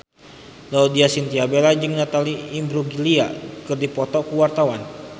Laudya Chintya Bella jeung Natalie Imbruglia keur dipoto ku wartawan